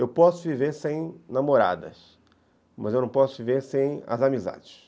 Eu posso viver sem namoradas, mas eu não posso viver sem as amizades.